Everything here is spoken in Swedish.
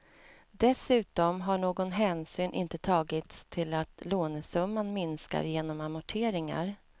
Dessutom har någon hänsyn inte tagits till att lånesumman minskar genom amorteringar.